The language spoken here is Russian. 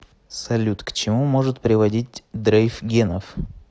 салют к чему может приводить дрейф генов